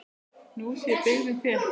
Nú sé byggðin þétt.